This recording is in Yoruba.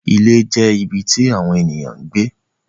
Ilé jẹ́ ibi tí àwọn ènìyàn ń gbé.